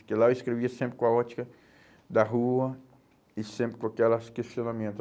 Porque lá eu escrevia sempre com a ótica da rua e sempre com aquelas questionamento.